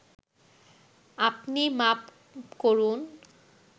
আপনি মাপ করুন